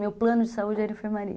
Meu plano de saúde era enfermaria.